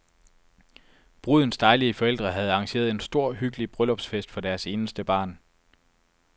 Brudens dejlige forældre havde arrangeret en stor hyggelig bryllupsfest for deres eneste barn.